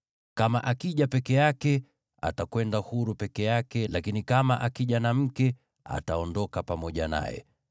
Kama akija peke yake, atakwenda huru peke yake, lakini kama akija na mke, ataondoka pamoja naye.